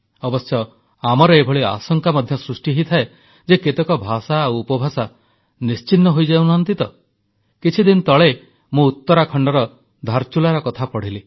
ଅବଶ୍ୟ ଆମର ଏଭଳି ଆଶଙ୍କା ମଧ୍ୟ ସୃଷ୍ଟି ହୋଇଥାଏ ଯେ କେତେକ ଭାଷା ଆଉ ଉପଭାଷା ନିଶ୍ଚିହ୍ନ ହୋଇଯାଉନି ତ କିଛିଦିନ ତଳେ ମୁଁ ଉତ୍ତରାଖଣ୍ଡର ଧାରଚୁଲାର କଥା ପଢ଼ିଲି